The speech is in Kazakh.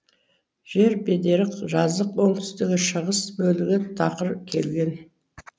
жер бедері жазық оңтүстігі шығыс бөлігі тақыр келген